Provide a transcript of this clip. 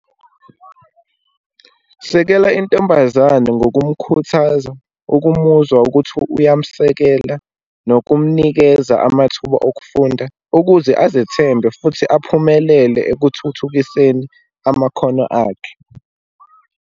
Sekela intombazane ngokumkhuthaza, ukumuzwa ukuthi uyamsekela, nokumnikeza amathuba okufunda, ukuze azethembe futhi aphumelele ekuthuthukiseni amakhono akhe.